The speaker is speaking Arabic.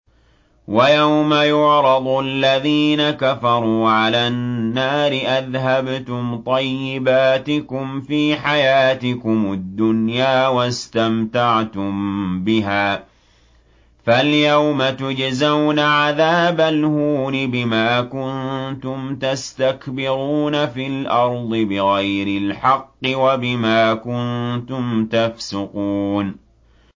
وَيَوْمَ يُعْرَضُ الَّذِينَ كَفَرُوا عَلَى النَّارِ أَذْهَبْتُمْ طَيِّبَاتِكُمْ فِي حَيَاتِكُمُ الدُّنْيَا وَاسْتَمْتَعْتُم بِهَا فَالْيَوْمَ تُجْزَوْنَ عَذَابَ الْهُونِ بِمَا كُنتُمْ تَسْتَكْبِرُونَ فِي الْأَرْضِ بِغَيْرِ الْحَقِّ وَبِمَا كُنتُمْ تَفْسُقُونَ